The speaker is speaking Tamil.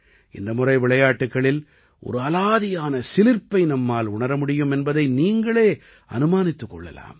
இந்த முறை விளையாட்டுக்களில் ஒரு அலாதியான சிலிர்ப்பை நம்மால் உணர முடியும் என்பதை நீங்களே அனுமானித்துக் கொள்ளலாம்